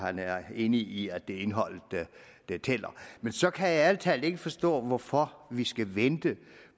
han er enig i at det er indholdet der tæller men så kan jeg ærlig talt ikke forstå hvorfor vi skal vente